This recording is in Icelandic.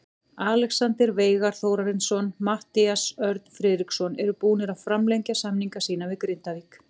Alexander Veigar Þórarinsson og Matthías Örn Friðriksson eru búnir að framlengja samninga sína við Grindavík.